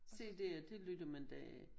CDer det lytter man da